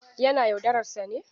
Yana yaudarar sa ne?